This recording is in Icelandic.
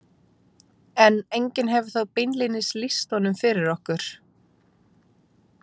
En enginn hefur þó beinlínis lýst honum fyrir okkur.